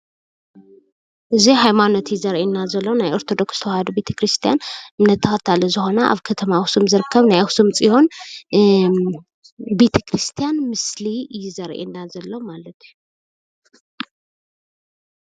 እዚ ምስሊ ር/ኣድባራት ወገዳማት ቤተ ክርስትያን ኣኽሱም ፅዮን እዩ።